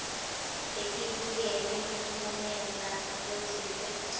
letibukene nemphumela lotsite